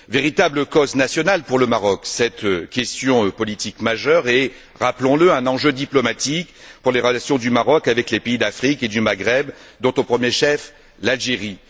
Véritable cause nationale pour le Maroc, cette question politique majeure est, rappelons le, un enjeu diplomatique pour les relations du Maroc avec les pays d'Afrique et du Maghreb, dont au premier chef l'Algérie.